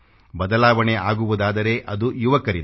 ಬದಲಾವಣೆ ಆಗುವುದಾದರೆ ಅದು ಯುವಕರಿಂದ